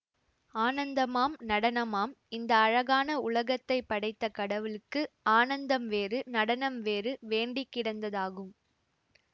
ஆனந்தமாம் நடனமாம் இந்த அழகான உலகத்தை படைத்த கடவுளுக்கு ஆனந்தம் வேறு நடனம் வேறு வேண்டி கிடந்ததாகும்